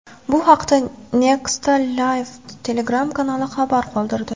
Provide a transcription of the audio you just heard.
Bu haqda Nexta Live Telegram-kanali xabar qoldirdi.